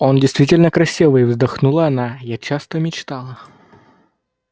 он действительно красивый вздохнула она я часто мечтала